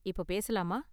இப்போ பேசலாமா?